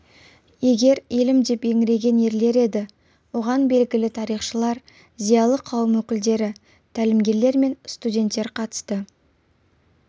егер елім деп еңіреген ерлер еді оған белгілі тарихшылар зиялы қауым өкілдері тәлімгерлер мен студенттер қатысты